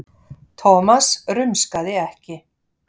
Thomas rumskaði ekki.